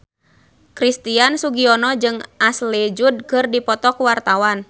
Christian Sugiono jeung Ashley Judd keur dipoto ku wartawan